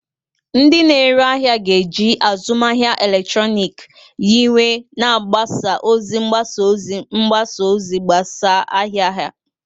Ndị na-ere ahịa ga-eji azụmahịa eletrọnịkị nyiwe na mgbasa ozi mgbasa ozi mgbasa ozi gbasaa ahịa ahịa ha.